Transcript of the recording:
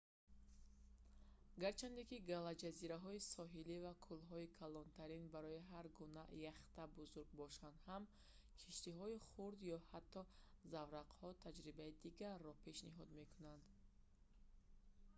гарчанде ки галаҷазираҳои соҳилӣ ва кӯлҳои калонтарин барои ҳар гуна яхта бузург бошанд ҳам киштиҳои хурд ё ҳатто заврақҳо таҷрибаи дигарро пешниҳод мекунанд